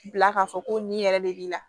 Bila k'a fɔ ko nin yɛrɛ de b'i la